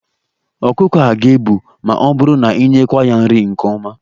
Ọkụkọ a ga-ebu ma ọ bụrụ na inyekwuo ya nri nke ọma.